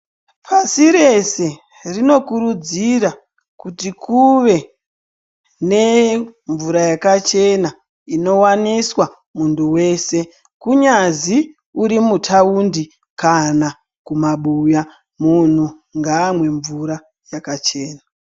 Pasi rese rinokurudzira kuti kuve nemvura yakachena inowaniswa muntu wese kunyazi uri mutaundi kana kumabuya munhu ngamwe mvura yakachena.